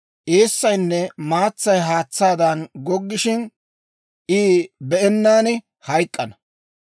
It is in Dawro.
Eessaynne maatsay haatsaadan goggishina, I be'ennaan hayk'k'ana.